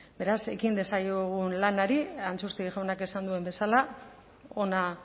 beraz ekin diezaiogun lanari antxustegi jaunak esan duen bezala ona